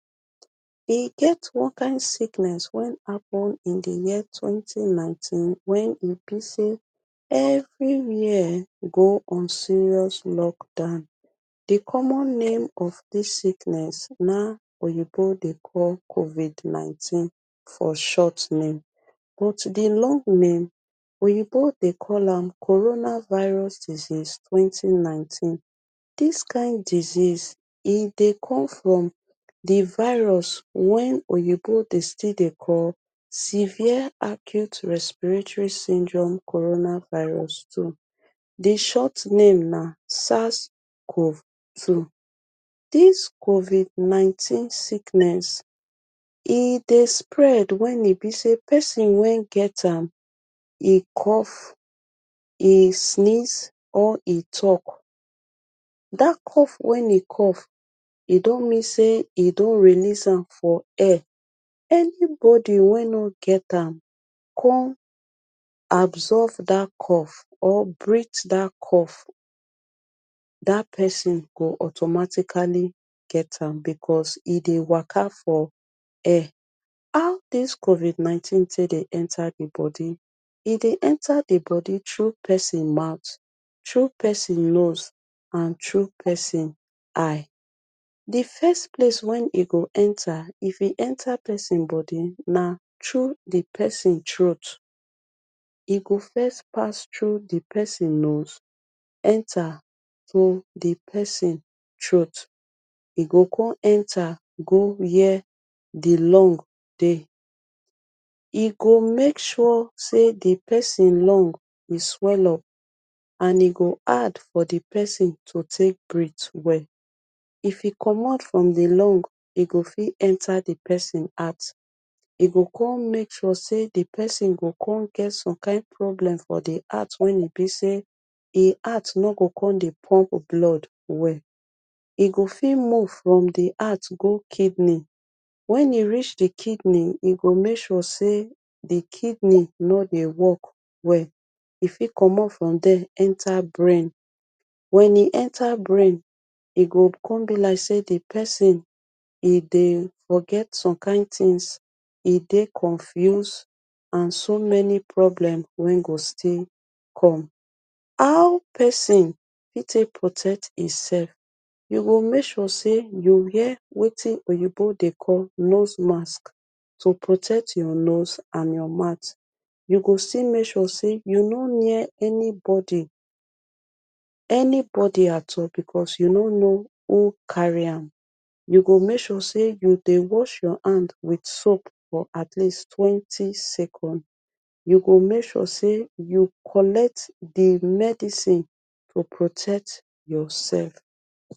E get one kind sickness wen happen in di year twenty nineteen, wen e be sey everywhere go on serious lockdown. Di common name of dis sickenss na oyinbo dey call covid nineteen for short name. But di long name, oyinbo dey call am corona virus disease twenty nineteen. Dis kind disease, e dey come from di virus wen oyinbo dey still dey call severe acute respiratory syndrome corona virus two. Di short name na sars cov two. Dis covid nineteen sickness, e dey spread wen e be sey person wen get am e cough, e sneeze or e talk. Dat cough wen e cough e don mean sey e don release am for air, anybody wen no get am kon absorb dat cough or breat dat cough, dat person go automatically get am because e dey waka for air. How dis covid nineteen tey dey enter di body? E dey enter di body tru person mout, tru person nose and tru person eye. Di first place wen e go enter if e enter person body na tru di person troat. E go first pass tru di person nose, enter to di person troat. E go kon enter go where di lung dey. E go make sure sey di person lung, e swell up and e go hard for di person to tek breat well. If e comot from di lung, e go fit enter di person heart. E go kon make sure sey di person go kon get some kind problem for di heart wen e be sey e heart no go kon dey pump blood well. E go fit move from di heart go kidney, when e reach di kidney e go make sure sey di kidney nor dey work well. E fit comot from dier enter brain, when e enter brain e go kon be like sey di person e dey forget some kind tins, e dey confuse and so many problem wen go still come. How person fit tey protect himself? You go make sure sey you wear wetin oyinbo dey call nose mask to protect your nose and your mout. You go still make sure sey you nor near anybody, anybody at all because you nor know who carry am. You go make sure sey you dey wash your hand wit soap for at least twenty second. You go make sure sey you collect di medicine to protect yourself.